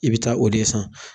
I bɛ taa o de ye san